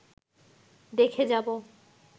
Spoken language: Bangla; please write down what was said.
দেখে যাব